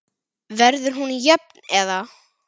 Verður hún jöfn eða?